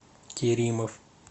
керимов